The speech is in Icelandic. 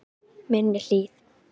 Minni Hlíð